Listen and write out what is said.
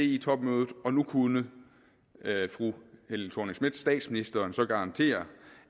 di topmødet og nu kunne fru helle thorning schmidt statsministeren så garantere